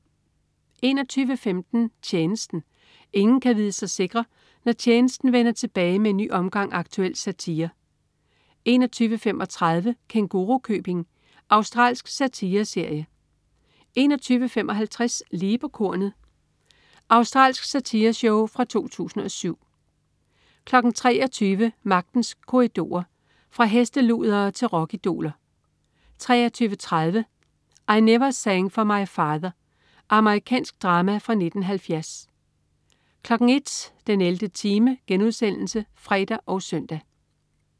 21.15 Tjenesten. Ingen kan vide sig sikre, når "Tjenesten" vender tilbage med en ny omgang aktuel satire 21.35 Kængurukøbing. Australsk satireserie 21.55 Lige på kornet. Australsk satireshow fra 2007 23.00 Magtens Korridorer. Fra hesteludere til rockidoler 23.30 I Never Sang for My Father. Amerikansk drama fra 1970 01.00 den 11. time* (fre og søn)